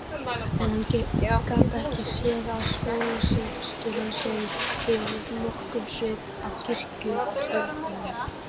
En hann gat ekki séð að skólasystur hans hefðu yfirleitt nokkurn svip af kirkjuturnum.